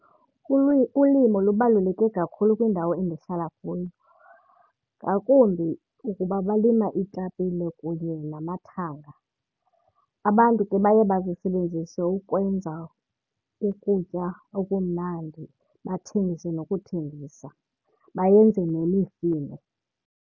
Ulimo lubaluleke kakhulu kwindawo endihlala kuyo, ngakumbi ukuba balima iitapile kunye namathanga. Abantu ke baye bazisebenzise ukwenza ukutya okumnandi, bathengise nokuthengisa, bayenze nemifino.